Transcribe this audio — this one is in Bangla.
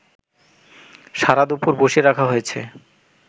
সারা দুপুর বসিয়ে রাখা হয়েছে